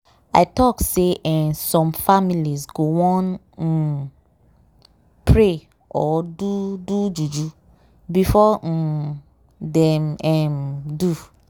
i talk say eeh some families go wan um wait- pray or do do juju before um dem um do